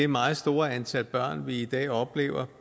meget store antal børn vi i dag oplever